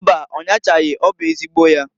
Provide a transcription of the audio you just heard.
Mbaǃ Ọ nyachaghi. Ọ bụ ezigbo ya.